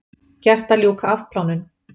Gert að ljúka afplánun